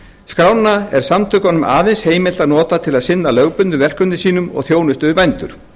skrána er samtökunum aðeins heimilt að nota til að sinna lögbundnum verkefnum sínum þjónustu við bændur